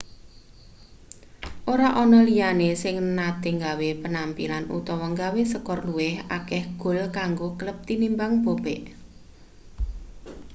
ora ana liyane sing nate gawe penampilan utawa gawe skor luwih akeh gol kanggo klub tinimbang bobek